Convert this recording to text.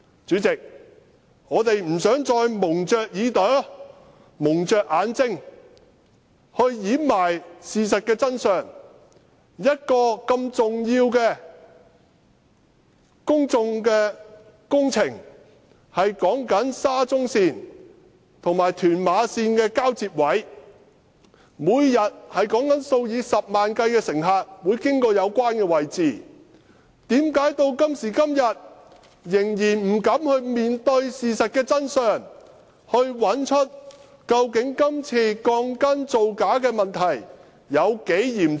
"主席，我們不想再掩着耳朵、蒙着眼睛去掩埋事實的真相，一個如此重要的公共工程，沙中線和屯馬線的交接位，每天有數以十萬計的乘客會經過有關位置，為甚麼至今仍不敢面對事實的真相，找出今次鋼筋造假的問題究竟有多嚴重？